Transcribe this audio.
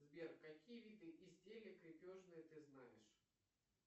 сбер какие виды изделия крепежные ты знаешь